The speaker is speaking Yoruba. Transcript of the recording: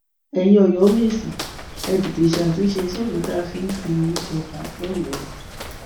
ẹyin ọyọmẹsì ẹ tètè ṣàtúnṣe sófin tá a fi fi ń jọba lọyọọ